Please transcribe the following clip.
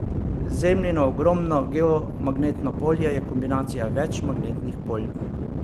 Zemljino ogromno geomagnetno polje je kombinacija več magnetnih polj.